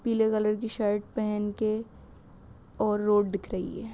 पीले कलर की शर्ट पहन के और रोड दिख रही है।